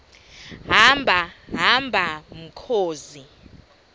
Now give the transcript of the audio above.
hamba hamba mkhozi